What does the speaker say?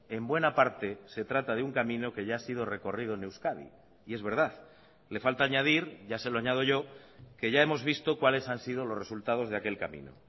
en buena parte se trata de un camino que ya ha sido recorrido en euskadi y es verdad le falta añadir ya se lo añado yo que ya hemos visto cuáles han sido los resultados de aquel camino